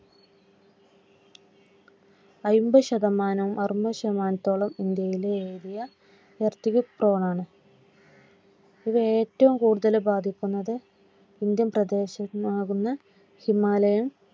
അമ്പത് ശതമാനം അറുപത് ശതമാനത്തോളം ഇന്ത്യയിലെ ഏരിയ Earthquake zone ആണ്. അതിൽ ഏറ്റവും കൂടുതൽ ബാധിക്കുന്നത് ഇന്ത്യൻ പ്രദേശമാകുന്ന ഹിമാലയൻ